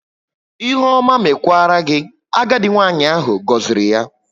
"Ihe ọma mekwara gị", agadi nwanyị ahụ goziri ya